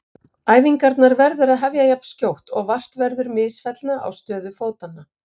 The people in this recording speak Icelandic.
Æfingarnar verður að hefja jafnskjótt og vart verður misfellna á stöðu fótanna.